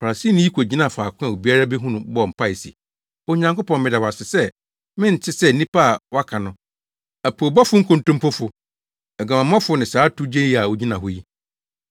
Farisini yi kogyinaa faako a obiara behu no bɔɔ mpae se, ‘Onyankopɔn, meda wo ase sɛ mente sɛ nnipa a wɔaka no; apoobɔfo nkontompofo, aguamammɔfo ne saa towgyeni a ogyina hɔ yi.